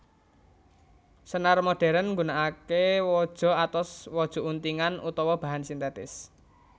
Senar modhèrn nggunakaké waja atos waja untingan utawa bahan sintètis